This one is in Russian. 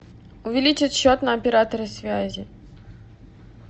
увеличить счет на операторе связи